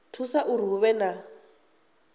thusa uri hu vhe na